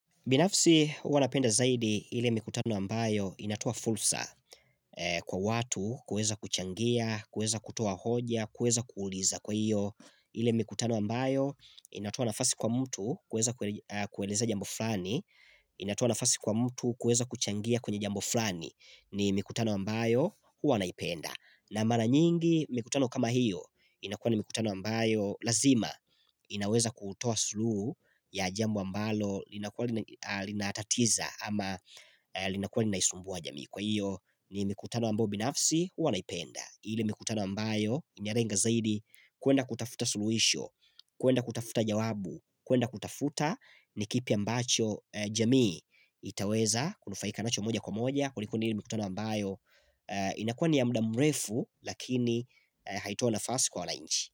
Binafsi huwa napenda zaidi ile mikutano ambayo inatoa fulsa kwa watu kueza kuchangia, kueza kutoa hoja, kueza kuuliza kwa hiyo hh ile mikutano ambayo inatoa nafasi kwa mtu kueza kuelez eeh kueza jambo flani, inatoa nafasi kwa mtu kueza kuchangia kwenye jambo flani ni mikutano ambayo huwa naipenda. Hhh na mara nyingi mikutano kama hiyo inakua ni mikutano ambayo lazima hh ii inaweza kutoa suluhu ya jambo ambalo linakua ahh linatatiza ama linakua linaisumbua jamii kwa hiyo ni mikutano ambayo binafsi hua naipenda. Ile mikutana ambayo inyalenga zaidi kuenda kutafuta suluhisho. Mhh kuenda kutafuta jawabu kuenda kutafuta nikipi ambacho eh jamii hhh ii itaweza kunufaika nacho moja kwa moja kuliko ni ile mikutana ambayo ehh ii inakua ni ya mda mrefu lakini Haitoi nafasi kwa wana inchi.